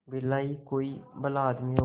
बिरला ही कोई भला आदमी होगा